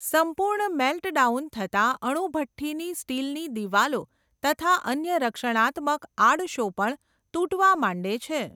સંપુર્ણ મેલ્ટડાઉન થતા અણુભઠ્ઠીની સ્ટીલની દિવાલો તથા અન્ય રક્ષણાત્મક આડશો પણ તૂટવા માંડે છે.